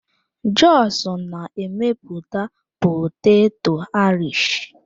Jos na-emepụta poteto Irish.